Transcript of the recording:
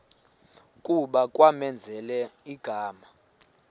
kuba kwamenzela igama